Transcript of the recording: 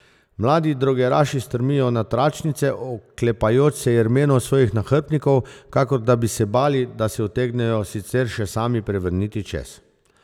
Mladi drogeraši strmijo na tračnice, oklepajoč se jermenov svojih nahrbtnikov, kakor da bi se bali, da se utegnejo sicer še sami prevrniti čez.